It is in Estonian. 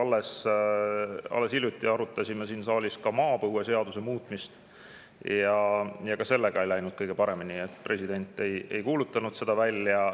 Alles hiljuti arutasime siin saalis maapõueseaduse muutmist ja ka sellega ei läinud kõige paremini, president ei kuulutanud seda välja.